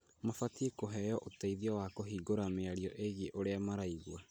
Mabatie kũheo ũteithio wa kũhingũra mĩario ĩgie ũrĩa maraigua.